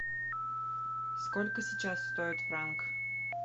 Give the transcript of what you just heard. сколько сейчас стоит франк